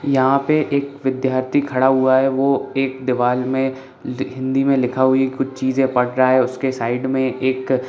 यहाँ पे एक विद्यार्थी खड़ा हुआ है वो एक दीवाल में हिंदी में लिखा हुआ है एक कुछ चीज़े पढ़ रह है उसके साइड में एक--